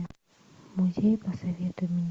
музей посоветуй мне